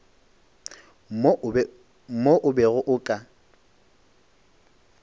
mo o bego o ka